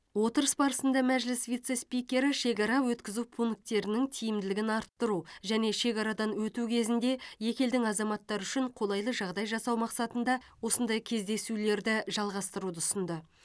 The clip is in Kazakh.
отырыс барысында мәжіліс вице спикері шекара өткізу пункттерінің тиімділігін арттыру және шекарадан өту кезінде екі елдің азаматтары үшін қолайлы жағдай жасау мақсатында осындай кездесулерді жалғастыруды ұсынды